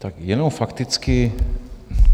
Tak jenom fakticky.